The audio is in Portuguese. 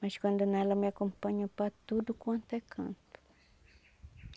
Mas quando não ela me acompanha para tudo quanto é canto.